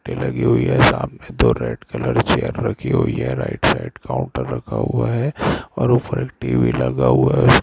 Light लगी हुई है सामने यहाँ पे दो लोग भी दिखाई दे रहा है रेड कलर की चेयर रखी हुई है एक कूलर भीरख हुआ हैऔर ऊपर टी_वी भी रखा हुआ है।